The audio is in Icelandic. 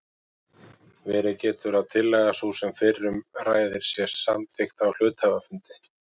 Verið getur að tillaga sú sem fyrr um ræðir sé samþykkt á hluthafafundi.